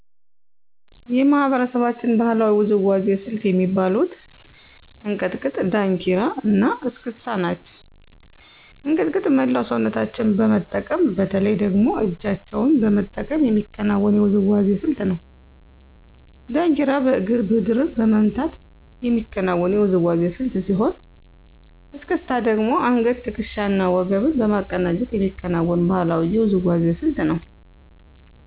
የማህበረሰባችን ባህላዊ ውዝዋዜ ስልት የሚባሉት፦ እንቅጥቅጥ፣ ዳንኪራ እና እስክስታ ናቸው። እንቅጥቅጥ መላው ሰውነታችን በመጠቀም በተለይ ደግሞ እጃቸውን በመጠቀም የሚከወን የውዝዋዜ ስልት ነው። ዳንኪራ በእግር ምድርን በመምታት የሚከናወን የውዝዋዜ ስልት ሲሆን፤ እስክስታ ደግሞ አንገት፣ ትክሻ እና ወገብን በማቀናጀት የሚከናወን ባህላዊ የውዝዋዜ ስልት ነው።